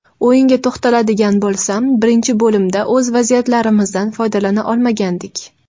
O‘yinga to‘xtaladigan bo‘lsam, birinchi bo‘limda o‘z vaziyatlarimizdan foydalana olmagandik.